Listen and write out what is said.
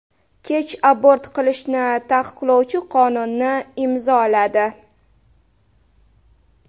Kech abort qilishni taqiqlovchi qonunni imzoladi .